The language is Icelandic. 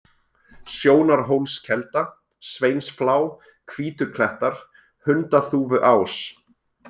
Sjónarhólskelda, Sveinsflá, Hvítuklettar, Hundaþúfuás